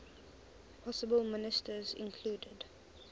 possible ministers included